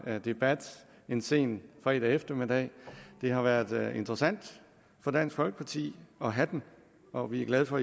her debat en sen fredag eftermiddag det har været interessant for dansk folkeparti at have den og vi er glade for